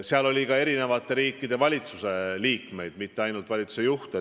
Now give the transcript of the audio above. Kohal oli ka eri riikide valitsuste liikmeid, mitte ainult valitsuste juhte.